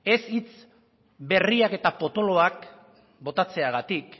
ez hitz berriak eta potoloak botatzeagatik